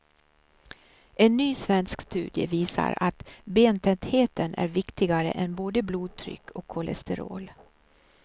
En ny svensk studie visar att bentätheten är viktigare än både blodtryck och kolesterol.